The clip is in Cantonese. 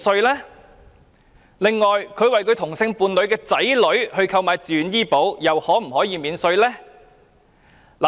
任何人為同性伴侶的子女購買自願醫保，又能否獲得扣稅？